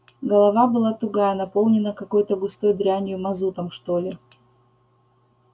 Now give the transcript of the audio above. голова была тугая наполненная какой-то густой дрянью мазутом что ли